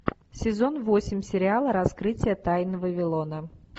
сезон восемь сериала раскрытие тайн вавилона